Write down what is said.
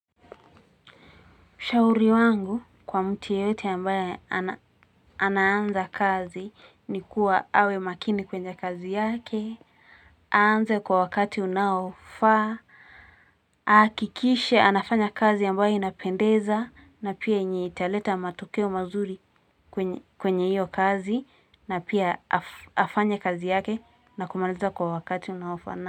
Ushauri wangu kwa mtu yeyote ambaye anaanza kazi ni kuwa awe makini kwenye kazi yake aanze kwa wakati unaofa. Hakikishe anafanya kazi ambaye inapendeza na pia yenyeitaleta matokeo mazuri kwenye iyo kazi na pia afanye afanye kazi yake na kumaliza kwa wakati unaofa na.